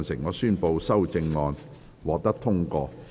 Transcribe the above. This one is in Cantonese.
我宣布修正案獲得通過。